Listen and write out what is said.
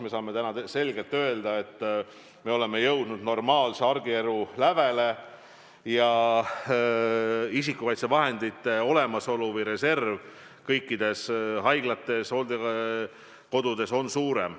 Me saame täna öelda, et me oleme jõudnud normaalse argielu lävele ja isikukaitsevahendite olemasolu või reserv kõikides haiglates ja hooldekodudes on suurem.